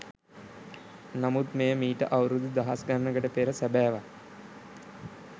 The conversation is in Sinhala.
නමුත් මෙය මීට අවුරුදු දහස් ගණනකට පෙර සැබෑවක්.